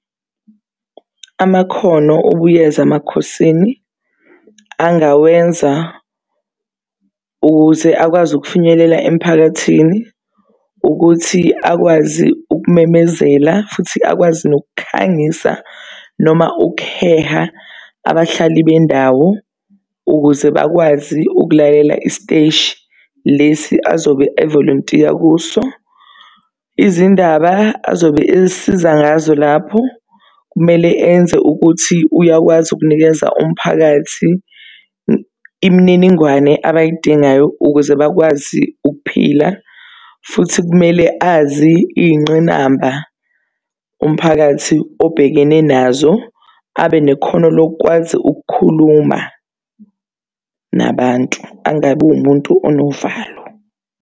Amakhono uBuyeza Makhosini angawenza ukuze akwazi ukufinyelela emphakathini ukuthi akwazi ukumemezela futhi akwazi nokukhangisa, noma ukuheha abahlali bendawo ukuze bakwazi ukulalela isiteshi lesi azobe evolontiya kuso. Izindaba azobe esiza ngazo lapho, kumele enze ukuthi uyakwazi ukunikeza umphakathi imininingwane abayidingayo ukuze bakwazi ukuphila. Futhi kumele azi iy'ngqinamba umphakathi obhekene nazo. Abe nekhono lokukwazi ukukhuluma nabantu, angabi wumuntu onovalo.